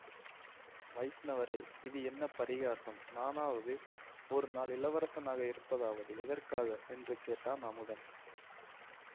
வைஷ்ணவரே இது என்ன பரிகாசம் நானாவது ஒரு நாள் இளவரசனாக இருப்பதாவது எதற்காக என்று கேட்டான் அமுதன்